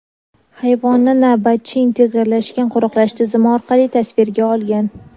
Hayvonni navbatchi integrallashgan qo‘riqlash tizimi orqali tasvirga olgan.